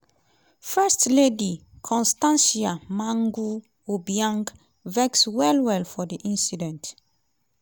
first lady constancia mangue obiang vex well well for di incident